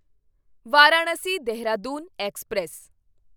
Varanasi Dehradun express